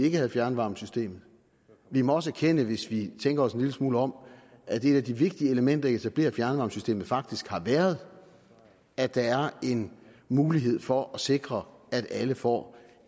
ikke havde fjernvarmesystemet vi må også erkende hvis vi tænker os en lille smule om at et af de vigtige elementer i at etablere fjernvarmesystemet faktisk har været at der er en mulighed for at sikre at alle får